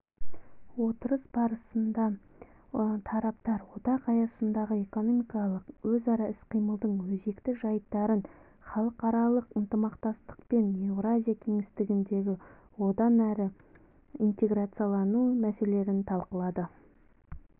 отырыс барысында тараптар одақ аясындағы экономикалық өзара іс-қимылдың өзекті жайттарын халықаралық ынтымақтастық пен еуразия кеңістігіндегі одан әрі интеграциялану мәселелерін талқылады